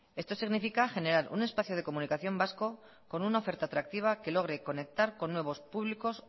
esto significa generar un espacio de comunicación vasco con una oferta atractiva que logre conectar con nuevos públicos